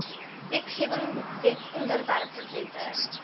wetgewing wetsontwerpe wette